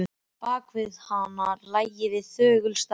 Bak við hana lægi hið þögula starf.